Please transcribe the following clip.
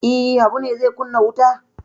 E, Habu ne zai kunna wuta?